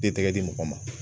Den tɛgɛ di mɔgɔ ma